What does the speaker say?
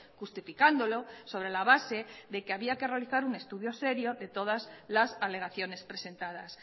justificándolo sobre la base de que había que realizar un estudio serio de todas las alegaciones presentadas